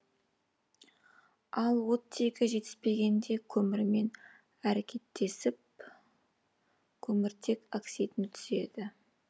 ал оттегі жетіспегенде көмірмен әрекеттесіп көміртек оксидін түзеді